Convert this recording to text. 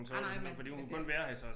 Nej nej men men det